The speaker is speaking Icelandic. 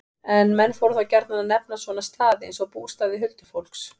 En menn fóru þá gjarnan að nefna svona staði, eins og bústaði huldufólks.